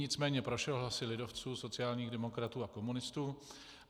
Nicméně prošel hlasy lidovců, sociálních demokratů a komunistů.